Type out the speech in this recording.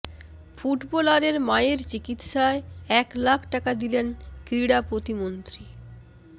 ফুটবলারের মায়ের চিকিৎসায় এক লাখ টাকা দিলেন ক্রীড়া প্রতিমন্ত্রী